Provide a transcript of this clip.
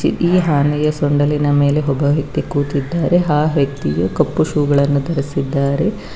ಈ ಆನೆಯ ಸುಂಡಿಲನ ಮೇಲೆ ಒಬ್ಬ ವ್ಯಕ್ತಿ ಕುತ್ತಿದ್ದಾರೆ ಆ ವ್ಯಕ್ತಿ ಕಪ್ಪು ಶೋ ವನ್ನು ಧರಿಸಿದ್ದಾರೆ.